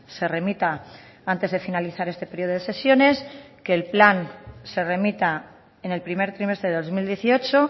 se remita antes de finalizar este periodo de sesiones que el plan se remita en el primer trimestre de dos mil dieciocho